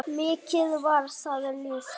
Mikið var það ljúft.